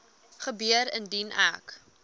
gebeur indien ek